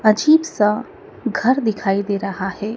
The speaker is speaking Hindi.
अजीब सा घर दिखाई दे रहा है।